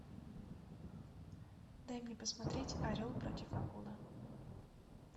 дай мне посмотреть орел против акулы